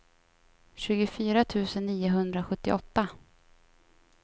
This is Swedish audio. tjugofyra tusen niohundrasjuttioåtta